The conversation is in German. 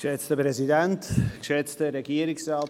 Ich erteile Grossrat Marti das Wort.